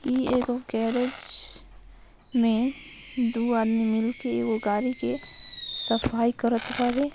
ई एगो गेरेज मे दो आदमी मिलके एगो गाड़ी के सफाई करत बाड़े।